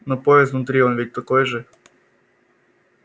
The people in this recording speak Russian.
но подъезд внутри он ведь такой же